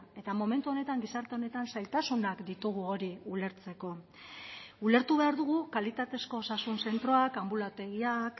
eta momentu honetan gizarte honetan zailtasunak ditugu hori ulertzeko ulertu behar dugu kalitatezko osasun zentroak anbulategiak